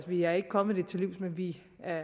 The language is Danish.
vi er ikke kommet det til livs men vi